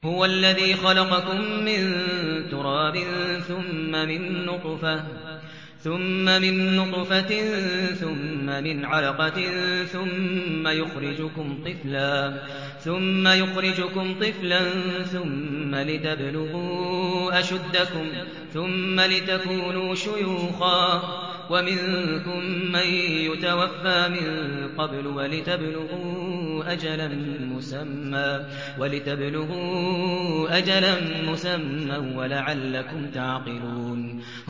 هُوَ الَّذِي خَلَقَكُم مِّن تُرَابٍ ثُمَّ مِن نُّطْفَةٍ ثُمَّ مِنْ عَلَقَةٍ ثُمَّ يُخْرِجُكُمْ طِفْلًا ثُمَّ لِتَبْلُغُوا أَشُدَّكُمْ ثُمَّ لِتَكُونُوا شُيُوخًا ۚ وَمِنكُم مَّن يُتَوَفَّىٰ مِن قَبْلُ ۖ وَلِتَبْلُغُوا أَجَلًا مُّسَمًّى وَلَعَلَّكُمْ تَعْقِلُونَ